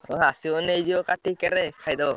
ତମେ ଆସିବ ନେଇଯିବ କାଟିକି କେରାଏ ଖାଇଦବ।